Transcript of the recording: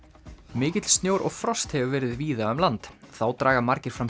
mikill snjór og frost hefur verið víða um land þá draga margir fram